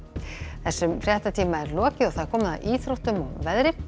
þessum fréttatíma er lokið og komið að íþróttum og veðri